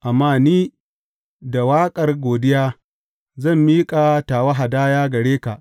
Amma ni, da waƙar godiya, zan miƙa tawa hadaya gare ka.